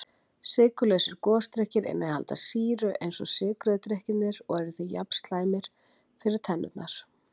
Sykurlausir gosdrykkir innihalda sýru eins og sykruðu drykkirnir og eru því jafn slæmir fyrir tennurnar.